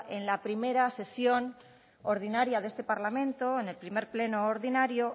en la primera sesión ordinaria de este parlamento en el primer pleno ordinario